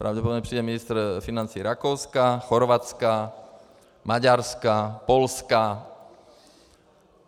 Pravděpodobně přijede ministr financí Rakouska, Chorvatska, Maďarska, Polska.